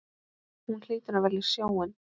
Hún hlýtur að velja sjóinn.